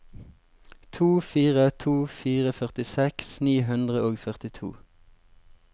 to fire to fire førtiseks ni hundre og førtito